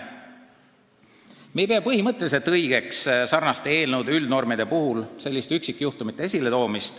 Me ei pea põhimõtteliselt õigeks säärastes üldnorme sätestavates seadustes üksikjuhtumeid esile tuua.